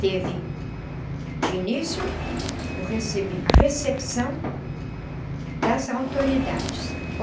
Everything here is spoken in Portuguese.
Teve, de início, o recebi a recepção das autoridades.